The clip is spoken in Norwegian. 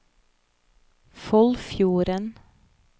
Foldfjorden